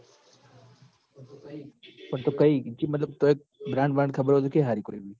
પણ તો કઈ જે મતલબ તોય brand ખબર હોય તો કે હારી કોઈ બી